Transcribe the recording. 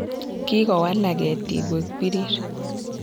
kikowalak kitik koek pirir